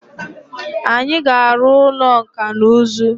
Anyi ga aru ulo nka na uzu.